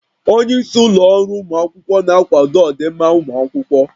Onye isi ụlọ ọrụ ụmụ akwụkwọ na-akwado ọdịmma ụmụ akwụkwọ